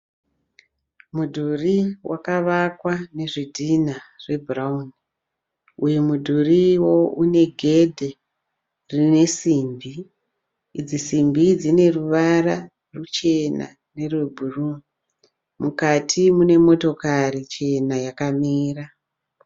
Mudhuri wakavakwa nezvidhinha zvebhurawuni. Uyu mudhuriwo une gedhe rine simbi. Idzi simbi dzine ruvara ruchena nerwebhuruu. Mukati mune motokari chena yakamira.